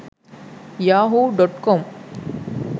yahoo.com